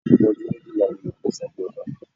Omodun méjìlá ni Manasseh di ọba.